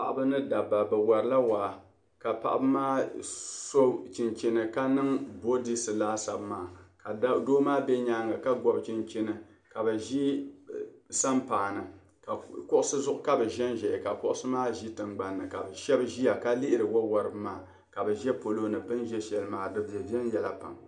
Paɣiba ni dabba bɛ warila waa ka paɣiba maa so chinchini ka niŋ boodiisi laasabu maa ka doo maa be nyaaŋga ka gɔbi chinchini ka bɛ ʒi sampaa ni. Kuɣisi zuɣu ka bɛ ʒinʒia ka kuɣisi maa ʒi tiŋgbani ni ka bɛ shɛba ʒia ka lihiri wawariba maa ka bɛ za palo ni. Bɛ ni za shɛli maa di be viɛnyɛla pam.